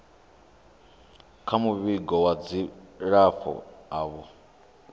kha muvhigo wa dzilafho avho